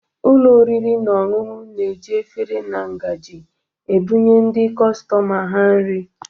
Ụlọ oriri na ọṅụṅụ na-eji efere na ngaji ebụnye ndị kọstọma ha nri